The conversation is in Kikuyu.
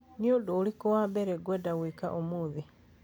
Nĩ ũndũ ũrĩkũ wa mbere ngwenda gwĩka ũmũthĩ?